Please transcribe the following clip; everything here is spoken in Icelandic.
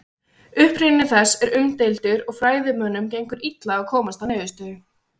Uppruni þess er umdeildur og fræðimönnum gengur illa að komast að niðurstöðu.